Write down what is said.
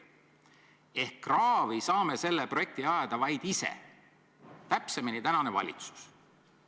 Seega kraavi saame selle projekti ajada vaid ise, täpsemini saab seda teha praegune valitsus.